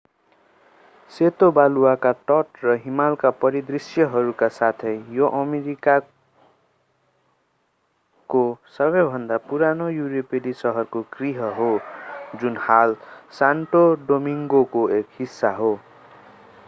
सेतो बालुवाका तट र हिमालका परिदृष्यहरूका साथै यो अमेरिकाहरूको सबैभन्दा पुरानो युरोपेली सहरको गृह हो जुन हाल सान्टो डोमिङ्गोको एक हिस्सा हो